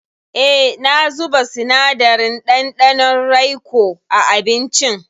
E, na zuba sinadarin ɗanɗanon raikoa abincin.